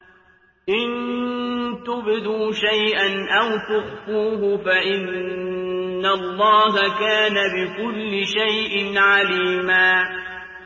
إِن تُبْدُوا شَيْئًا أَوْ تُخْفُوهُ فَإِنَّ اللَّهَ كَانَ بِكُلِّ شَيْءٍ عَلِيمًا